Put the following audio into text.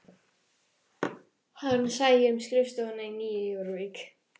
Hann sæi um skrifstofuna í Nýju Jórvík